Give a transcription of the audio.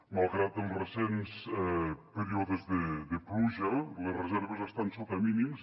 malgrat els recents períodes de pluja les reserves estan sota mínims